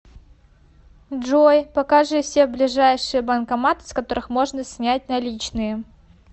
джой покажи все ближайшие банкоматы с которых можно снять наличные